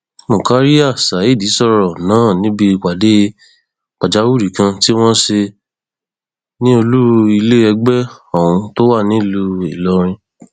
murkaria saheed sọrọ náà níbi ìpàdé pàjáwìrì kan tí wọn ṣe ní olú ilé ẹgbẹ ohun tó wà nílùú ìlọrin